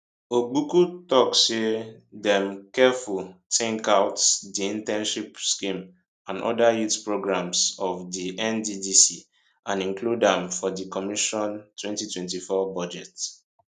ogbuku tok say dem carefully tink out di internship scheme and oda youth programmes of di nddc and include am for di commission 2024 budget